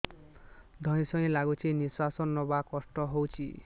ଧଇଁ ସଇଁ ଲାଗୁଛି ନିଃଶ୍ୱାସ ନବା କଷ୍ଟ ହଉଚି